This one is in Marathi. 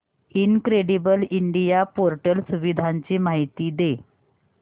इनक्रेडिबल इंडिया पोर्टल सुविधांची माहिती दे